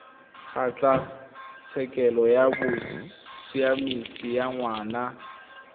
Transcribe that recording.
kgotlatshekelo ya bosiamisi ya ngwana